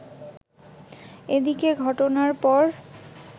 এদিকে ঘটনার পর